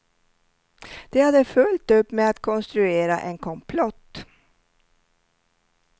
De hade fullt upp med att konstruera en komplott.